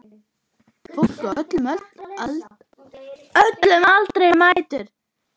Fólk á öllum aldri mætir.